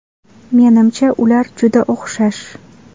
Menimcha, ular juda o‘xshash”.